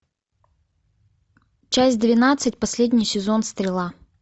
часть двенадцать последний сезон стрела